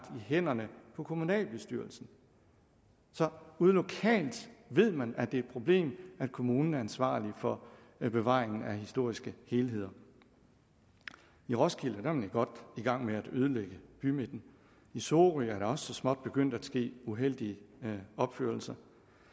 hænderne på kommunalbestyrelsen så ude lokalt ved man at det er et problem at kommunen er ansvarlig for bevaringen af historiske helheder i roskilde er man godt i gang med at ødelægge bymidten i sorø er der også så småt begyndt at ske uheldige opførelser